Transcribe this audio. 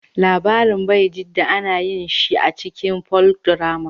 Labarin Baijida ana yin shi a cikin Folkdrama